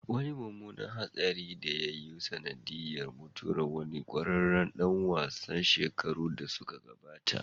Wani mummunan hatsarin da ya yi sanadin mutuwar wani kwararren dan wasa shekaru da suka gabata